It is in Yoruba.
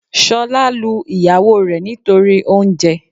Sọ́lá lu ìyàwó rẹ̀ nítorí oúnje